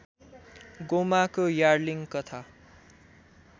गोमाको यार्लिङ कथा